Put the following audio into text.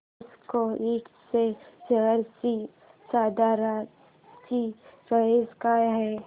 विसाका इंड च्या शेअर ची सध्याची प्राइस काय आहे